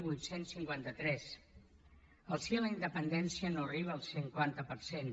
vuit cents i cinquanta tres el sí a la independència no arriba al cinquanta per cent